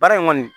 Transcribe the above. Baara in kɔni